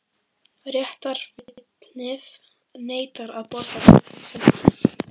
Réttarvitnið neitar að borða grautinn sinn.